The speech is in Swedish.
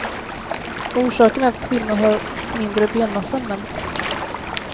Orsaken är att kvinnor har mindre benmassa än män.